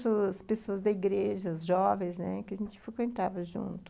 as pessoas pessoas da igreja, os jovens, que a gente frequentava junto.